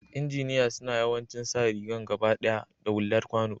lnjiniya suna yawancin sa rigan gabadaya da hular kwano.